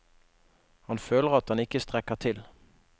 Han føler at han ikke strekker til.